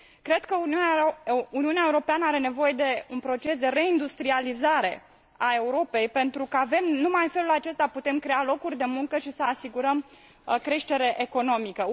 Cred că Uniunea Europeană are nevoie de un proces de reindustrializare a Europei pentru că, numai în felul acesta, putem crea locuri de muncă și asigura creștere economică.